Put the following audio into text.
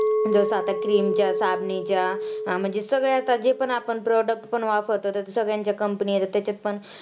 जसं आता cream च्या साबणीच्या अं म्हणजे सगळे आता जे पण आपण product पण वापरतो त्याचे सगळ्यांचे company आहेत, तेच्यात पण